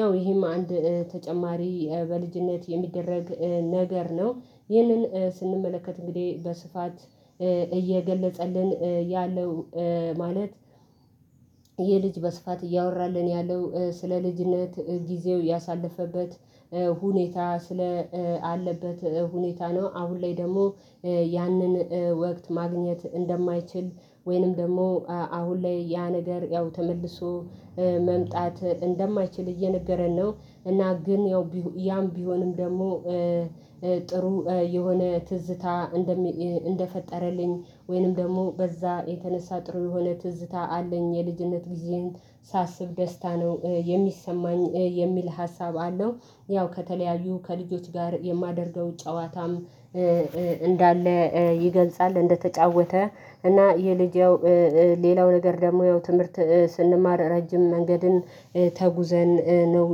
ያው ይሄም አንድ ተጨማሪ በልጅነት የሚደረግ ነገር ነው። ይህንን ስንመለከት እንግዲህ በስፋት እየገለጸልን ያለው ማለት ይህ ልጅ በስፋት እያወራልን ያለው ስለ ልጅነት ጊዜው ያሳለፈበት ሁኔታ ስላለበት ሁኔታ ነው። አሁን ላይ ደግሞ ያንን ወቅት ማግኘት እንደማይችል ወይንም ደግሞ አሁን ላይ ያ ነገር ያው ተመልሶ መምጣት እንደማይችል እየነገረን ነው። እና ግን ያም ቢሆንም ደግሞ ጥሩ የሆነ ትዝታ እንደፈጠረልኝ ወይንም ደግሞ በዛ የተነሳ ጥሩ የሆነ ትዝታ አለኝ። የልጅነት ጊዜን ሳስብ ደስታ ነው የሚሰማኝ የሚል ሀሳብ አለው። ያው ከተለያዩ ከልጆች ጋር የማደርገው ጨዋታም እንዳለ ይገልጻል። እንደተጫወተ እና የልጄው ሌላው ነገር ደግሞ ያው ትምህርት ስንማር ረጅም መንገድን ተጉዘን ነው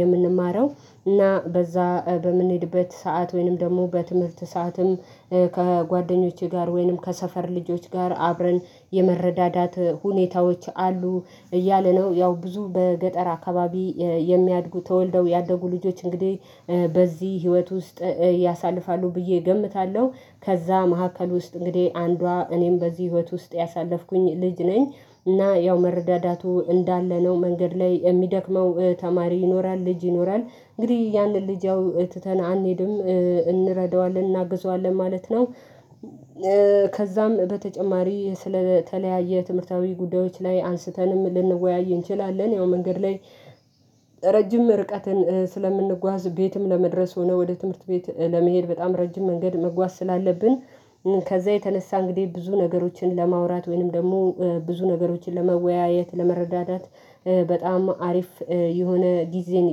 የምንማረው። እና በዛ በምንሄድበት ሰዓት ወይንም ደግሞ በትምህርት ሰዓትም ከጓደኞቼ ጋር ወይንም ከሰፈር ልጆች ጋር አብረን የመረዳዳት ሁኔታዎች አሉ። እያለ ነው ያው ብዙ በገጠር አካባቢ የሚያድጉ ተወልደው ያደጉ ልጆች እንግዲህ በዚህ ህይወት ውስጥ ያሳልፋሉ ብዬ እገምታለሁ። ከዛ መሀከል ውስጥ እንግዲህ አንዷ እኔም በዚህ ህይወት ውስጥ ያሳለፍኩኝ ልጅ ነኝ። እና ያው መረዳዳቱ እንዳለ ነው መንገድ ላይ የሚደክመው ተማሪ ይኖራል ልጅ ይኖራል እንግዲህ ያንን ልጅ አው ትተን አንሄድም እንረዳዋለን እናግዘዋለን ማለት ነው። ከዛም በተጨማሪ ስለተለያየ ትምህርታዊ ጉዳዮች ላይ አንስተንም ልንወያይ እንችላለን። ያው መንገድ ላይ ረጅም ርቀትን ስለምንጓዝ ቤትም ለመድረስ ሆኖ ወደ ትምህርት ቤት ለመሄድ በጣም ረጅም መንገድ መጓዝ ስላለብን ከዛ የተነሳ እንግዲህ ብዙ ነገሮችን ለማውራት ወይንም ደግሞ ብዙ ነገሮችን ለመወያየት ለመረዳዳት በጣም አሪፍ የሆነ ጊዜን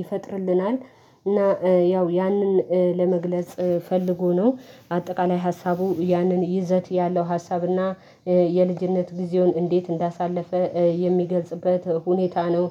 ይፈጥርልናል። እና ያው ያንን ለመግለጽ ፈልጎ ነው። አጠቃላይ ሀሳቡ ያንን ይዘት ያለው ሀሳብና የልጅነት ጊዜውን እንዴት እንዳሳለፈ የሚገልጽበት ሁኔታ ነው።